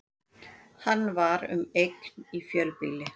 Hann var um eign í fjölbýli